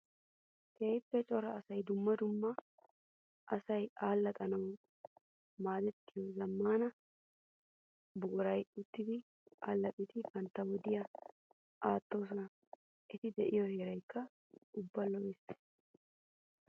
Keehippe cora asay dumma dumma asay alaxxanawu maadettiyo zamaana buquran uttiddi alaxxidde bantta wodiya aatosonna. Etti de'iyo heeraykka ubba lo'ees.